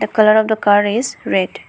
The colour of the car is red.